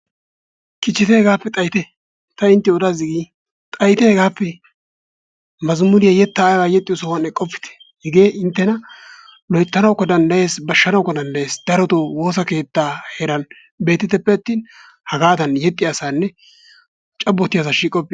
Kichite hegappe xayyite ta inttiyo odaas digin xayyite gehappe mazzamuriyaa yettaa yexxiyo sohuwan eqqopite hegee inttena loyttanawukka danddayees, bashshanawukka danddayyes. darotoo woossa keettaa heeran beettiteppe attin hagadan yexxiyasanne cabbotiyaassa shiiqopite.